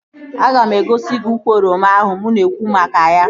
Aga m egosi gị ukwu oroma ahụ mụ na-ekwu maka ya